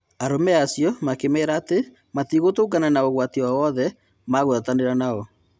Arũme acio makĩmera atĩ metigũtũngana na ũgwati o-wothe magũatanĩra nao.